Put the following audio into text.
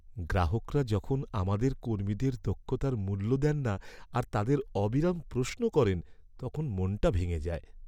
গ্রাহকরা যখন আমাদের কর্মীদের দক্ষতার মূল্য দেন না আর তাদের অবিরাম প্রশ্ন করেন, তখন মনটা ভেঙে যায়।